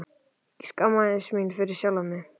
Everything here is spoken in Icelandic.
Ég skammaðist mín fyrir sjálfa mig.